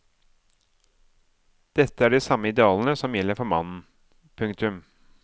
Dette er de samme idealene som gjelder for mannen. punktum